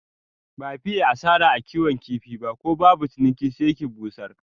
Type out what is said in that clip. Ba fiye asara a kiwon kifi ba, ko babu ciniki sai ki busar.